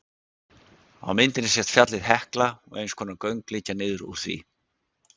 Á myndinni sést fjallið Hekla og eins konar göng liggja niður úr því.